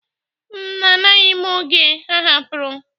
m, amaghị oge ọ hapụrụ.?